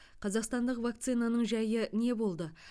қазақстандық вакцинаның жайы не болды